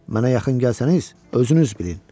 Mənə yaxın gəlsəniz, özünüz bilin.